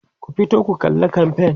ku fito ku kalla kamfain!